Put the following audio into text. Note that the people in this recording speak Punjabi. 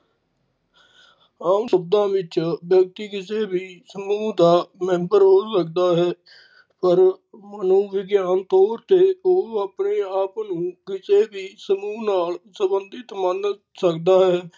ਆਮ ਸ਼ਬਦ ਵਿਚ ਵਿਅਕਤੀ ਕਿਸੇ ਵੀ ਸਮੂਹ ਦਾ member ਹੋ ਸਕਦਾ ਹੈ ਪਰ ਮਨੋਵਿਗਿਆਨ ਤੋਰ ਤੇ ਉਹ ਆਪਣੇ ਆਪ ਨੂੰ ਕਿਸੇ ਵੀ ਸਮੂਹ ਨਾਲ ਸੰਬੰਧਿਤ ਮੰਨ ਸਕਦਾ ਹੈ।